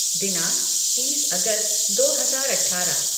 दिनांक तीस अगस्त दो हजार अठारह